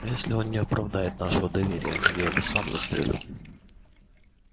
а если он не оправдает нашего доверия я его сам застрелю